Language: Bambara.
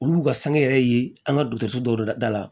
Olu b'u ka sange yɛrɛ ye an ka dɔgɔtɔrɔso dɔw dala